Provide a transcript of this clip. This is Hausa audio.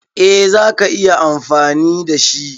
Eh za ka iya amfani da shi.